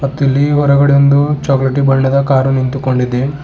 ಮತ್ತಿಲ್ಲಿ ಹೊರಗಡೆ ಒಂದು ಚಾಕ್ಲೇಟ್ ಬಣ್ಣದ ಕಾರು ನಿಂತುಕೊಂಡಿದೆ.